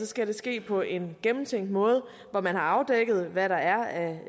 skal det ske på en gennemtænkt måde hvor man har afdækket hvad der er